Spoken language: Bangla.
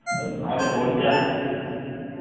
আমাদের board যা